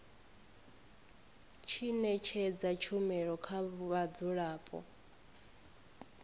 tshi ṅetshedza tshumelo kha vhadzulapo